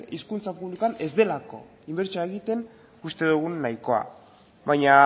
hezkuntza publikoan ez delako inbertsioa egiten guk uste dugun nahikoa baina